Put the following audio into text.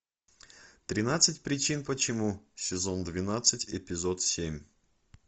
тринадцать причин почему сезон двенадцать эпизод семь